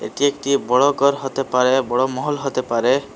এটি একটি বড় গর হতে পারে বড় মহল হতে পারে।